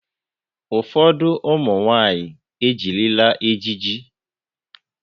Ụfọdụ ụmụ nwaanyị ejirila ejiji.